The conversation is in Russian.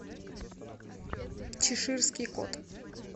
чеширский кот